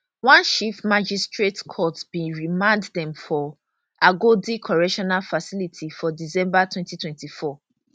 one chief magistrate court bin remand dem for agodi correctional facility for december 2024